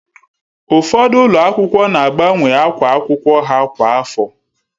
Ụfọdụ ụlọ akwụkwọ na agbanwe akwa akwụkwọ ha kwa afọ